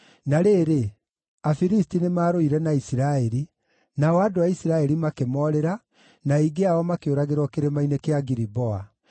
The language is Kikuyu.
Na rĩrĩ, Afilisti nĩmarũire na Isiraeli; nao andũ a Isiraeli makĩmoorĩra, na aingĩ ao makĩũragĩrwo Kĩrĩma-inĩ kĩa Giliboa.